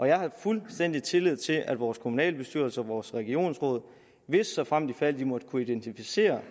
jeg har fuldstændig tillid til at vores kommunalbestyrelser og vores regionsråd hvis såfremt ifald de måtte kunne identificere